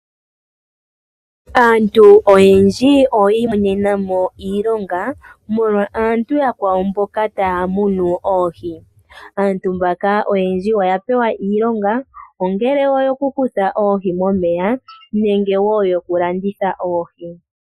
Aantu oyendji oya imonena mo iilonga molwa aantu yakwawo mboka taya munu oohi. Aantu mbaka oyendji oya pewa iilonga ongele oyo ku kutha oohi momeya, nonge wo yo ku landitha oohi.